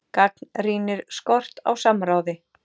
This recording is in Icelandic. Gagnrýnir skort á samráði